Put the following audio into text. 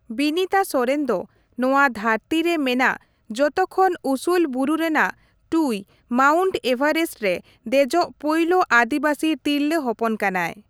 ᱵᱤᱱᱤᱛᱟ ᱥᱚᱨᱮᱱ ᱫᱚ ᱱᱚᱣᱟ ᱫᱷᱟᱹᱨᱛᱤ ᱨᱮ ᱢᱮᱱᱟᱜ ᱡᱚᱛᱚ ᱠᱷᱚᱱ ᱩᱥᱩᱞ ᱵᱩᱨᱩ ᱨᱮᱱᱟᱜ ᱴᱩᱭ ᱢᱟᱣᱩᱱᱴ ᱮᱵᱷᱨᱮᱥᱴ ᱨᱮ ᱫᱮᱡᱚᱜ ᱯᱩᱭᱞᱩ ᱟᱹᱫᱤᱵᱟᱥᱤ ᱛᱤᱨᱞᱟᱹ ᱦᱚᱯᱚᱱ ᱠᱟᱱᱟᱭ ᱾